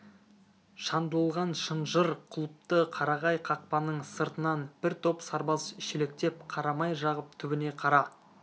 шандылған шынжыр құлыпты қарағай қақпаның сыртынан бір топ сарбаз шелектеп қара май жағып түбіне қара